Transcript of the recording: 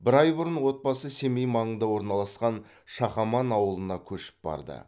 бір ай бұрын отбасы семей маңында орналасқан шақаман ауылына көшіп барды